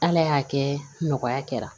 Ala y'a kɛ nɔgɔya kɛra